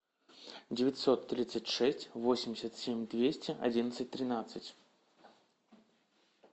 девятьсот тридцать шесть восемьдесят семь двести одиннадцать тринадцать